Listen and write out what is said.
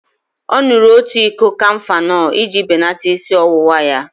Ọ ṅụrụ otu iko kafenol iji belata isi ọwụwa ya.